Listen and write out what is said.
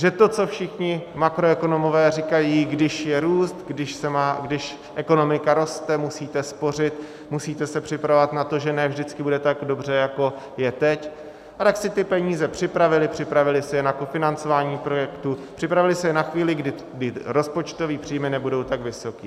Že to, co všichni makroekonomové říkají, když je růst, když ekonomika roste, musíte spořit, musíte se připravovat na to, že ne vždycky bude tak dobře, jako je teď, a tak si ty peníze připravily, připravily si je na kofinancování projektů, připravily si je na chvíli, kdy rozpočtové příjmy nebudou tak vysoké.